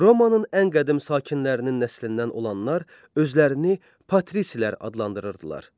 Romanın ən qədim sakinlərinin nəslindən olanlar özlərini Patrisilər adlandırırdılar.